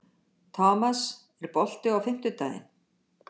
Thomas, er bolti á fimmtudaginn?